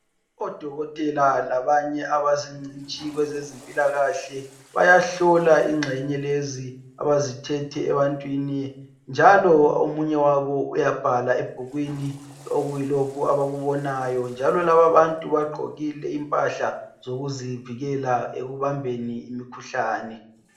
Odokotela labanye abazingcitshi kwezezimpilakahle bayahlola ingxenye lezi abazithethe ebantwini njalo omunye wabo uyabhala ebhukwini okuyilokhu akubonayo njalo laba abantu bagqokile impahla zokuzivikela ekubambeni imikhuhlane.